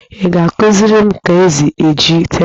Ị ga-akụziri m ka-esi eji teepụ?